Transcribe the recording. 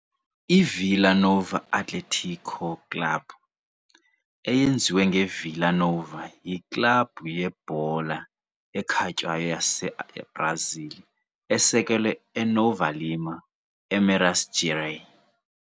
IVilla Nova Atlético Clube, eyenziwe ngeVilla Nova, yiklabhu yebhola ekhatywayo yaseBrazil esekelwe eNova Lima, eMinas Gerais.